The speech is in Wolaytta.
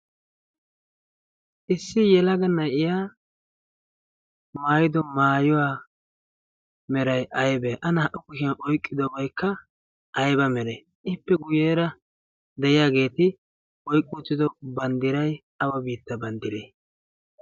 issi yelaga na7iya maayiido maayuwaa merai aibee? a naa77u kushiyan oiqqidobaikka aiba meree? ippe guyyeera de7iyaageeti oiqqi uttido banddirai awa biittaa banddiree?